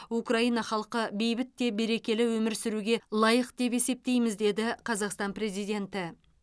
украина халқы бейбіт те берекелі өмір сүруге лайық деп есептейміз деді қазақстан президенті